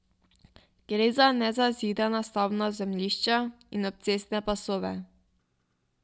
Gre za nezazidana stavbna zemljišča in obcestne pasove.